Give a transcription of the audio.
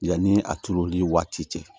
Yanni a turuli waati cɛ